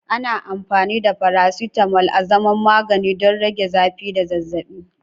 Ana amfani da faracetamol azaman magani don rage zafi da zazzabi.